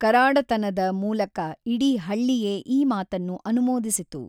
ಕರಾಡತನದ ಮೂಲಕ ಇಡೀ ಹಳ್ಳಿಯೇ ಈ ಮಾತನ್ನು ಅನುಮೋದಿಸಿತು.